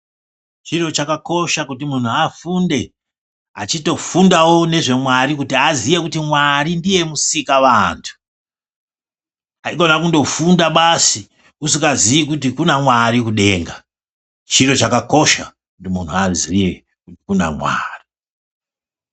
Chinhu chakakosha kuti munhu afunde. Achitofundawo nezvaMwari kuti aziye kuti Mwari ndiye Musikavantu. Haikona kundofunda basi usikazii kuti kuna Mwari kudenga. Chiro chakakosha kuti munhu aziye kuti kuna Mwari.